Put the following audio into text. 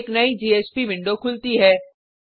एक नयी JSP window खुलती है